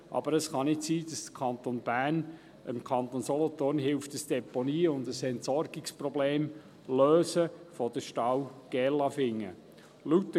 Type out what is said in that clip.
Aber es kann nicht sein, dass der Kanton Bern dem Kanton Solothurn hilft, ein Deponie- und Entsorgungsproblem der Stahl Gerlafingen zu lösen.